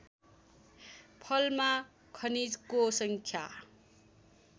फलमा खनिजको सङ्ख्या